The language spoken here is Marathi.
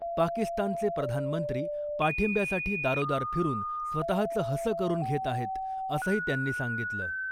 पाकिस्तानचे प्रधानमंत्री पाठिंब्यासाठी दारोदार फिरून स्वतःच हसं करून घेत आहेत , असंही त्यांनी सांगितलं .